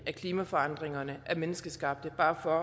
af klimaforandringerne er menneskeskabte